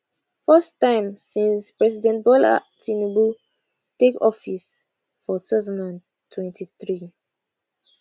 first time since president bola tinubu take office for 2023